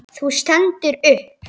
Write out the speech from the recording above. Þú stendur upp.